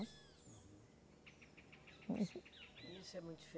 E isso é muito dife